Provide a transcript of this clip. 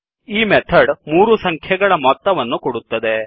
ಈ ಮೆಥಡ್ ಮೂರು ಸಂಖ್ಯೆಗಳ ಮೊತ್ತವನ್ನು ಕೊಡುತ್ತದೆ